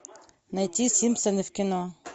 найти симпсоны в кино